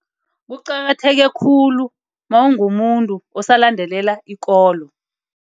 Kuqakatheke khulu mawungumuntu osalandelela ikolo.